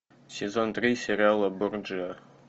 сезон три сериала борджиа